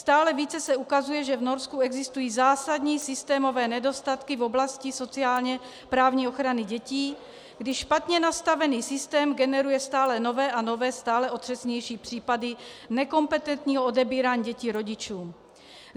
Stále více se ukazuje, že v Norsku existují zásadní systémové nedostatky v oblasti sociálně-právní ochrany dětí, když špatně nastavený systém generuje stále nové a nové, stále otřesnější případy nekompetentního odebírání dětí rodičům.